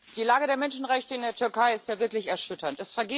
Die Lage der Menschenrechte in der Türkei ist ja wirklich erschütternd.